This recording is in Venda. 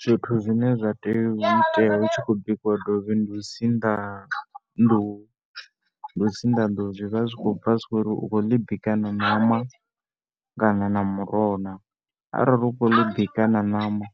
Zwithu zwine zwa tea u itea hu tshi khou bikiwa dovhi ndi u sinḓa, ndi u sinḓa nḓuhu. Zwi vha zwi tshi khou bva zwi khou ri, u khou ḽi bika nga ṋama kana nga muroho na. Arali u khou ḽi bika na ṋama,